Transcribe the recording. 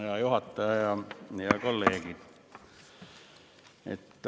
Hea juhataja ja kolleegid!